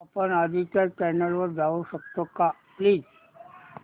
आपण आधीच्या चॅनल वर जाऊ शकतो का प्लीज